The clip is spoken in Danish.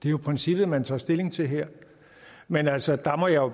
er princippet man tager stilling til her men altså der må jeg